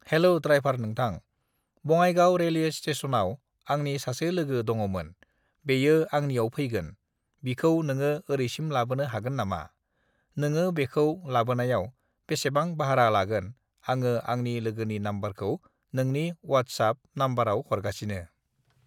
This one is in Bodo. हेल' द्रायभार नोंथां, बङाइगाव रेलवे स्टेसनआव आंनि सासे लोगो दङमोन बेयो आंनियाव फैगोन बिखौ नोङो ओरैसिम लाबोनो हागोन नामा? नोङो बेखौ लाबोनायाव बेसेबां बाह्रा लागोन आङो आंनि लोगोनि नाम्बारखौ नोंनि वाटसाब नाम्बारआव हरगासिनो।